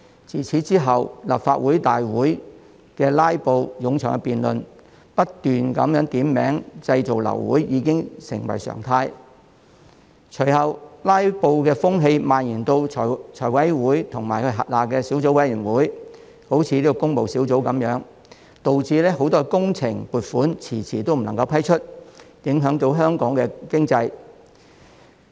自此之後，立法會會議的"拉布"、冗長辯論、不停點名製造流會等情況已成為常態；隨後，"拉布"的風氣蔓延至財務委員會及轄下的小組委員會，例如工務小組委員會，導致很多工程撥款遲遲未能批出，影響香港經濟。